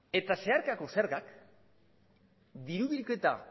eta zeharkako zergak diru bilketa